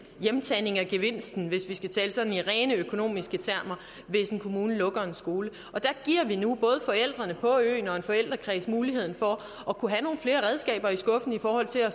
hjemtagning af gevinsten hvis vi skal tale sådan i rene økonomiske termer hvis en kommune lukker en skole og der giver vi nu både forældrene på øen og en forældrekreds muligheden for at kunne have nogle flere redskaber i skuffen i forhold til at